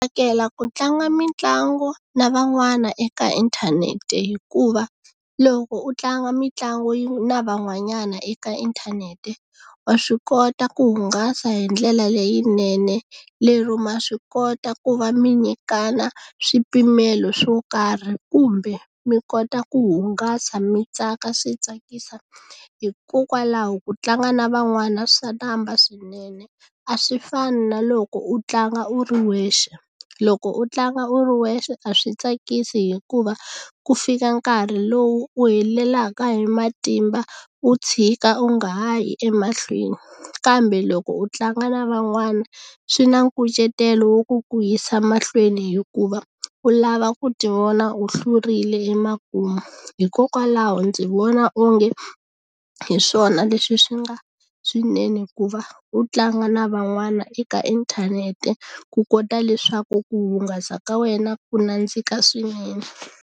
Tsakela ku tlanga mitlangu na van'wana eka inthanete hikuva loko u tlanga mitlangu na van'wanyana eka inthanete wa swi kota ku hungasa hi ndlela leyinene lero ma swi kota ku va mi nyikana swipimelo swo karhi kumbe mi kota ku hungasa mi tsaka swi tsakisa hikokwalaho ku tlanga na van'wana swa namba swinene a swi fani na loko u tlanga u ri wexe loko u tlanga u ri wexe a swi tsakisi hikuva ku fika nkarhi lowu u helelaka hi matimba u tshika u nga ha yi emahlweni kambe loko u tlanga na van'wana swi na nkucetelo wo ku ku yisa mahlweni hikuva u lava ku ti vona u hlurile emakumu hikokwalaho ndzi vona onge hi swona leswi swi nga swinene hikuva u tlanga na van'wana eka inthanete ku kota leswaku ku hungasa ka wena ku nandzika swinene.